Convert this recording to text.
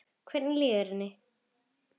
Hvernig líður henni?